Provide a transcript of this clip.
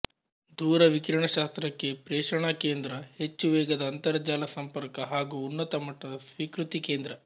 ದೂರವಿಕಿರಣಶಾಸ್ತ್ರಕ್ಕೆ ಪ್ರೇಷಣಾ ಕೇಂದ್ರ ಹೆಚ್ಚುವೇಗದ ಅಂತರಜಾಲ ಸಂಪರ್ಕ ಹಾಗೂ ಉನ್ನತ ಮಟ್ಟದ ಸ್ವೀಕೃತಿ ಕೇಂದ್ರ